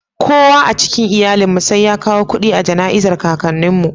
Kowa a cikin iyalin mu sai ya kawo kudi a janai'an kakannin mu.